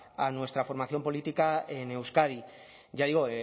a nuestra formación política en euskadi ya digo